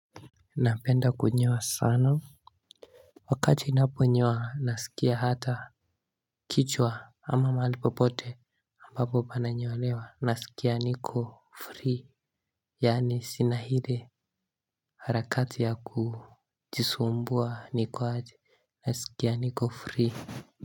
Napenda kunyoa sana. Wakati naponyoa nasikia hata kichwa ama mahali popote aMbapo pananyolewa nasikia niko free. Yani sina hile harakati ya kujisumbua nikwaaji nasikia niko free.